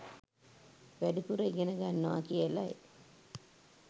වැඩිපුර ඉගෙන ගන්නවා කියලයි.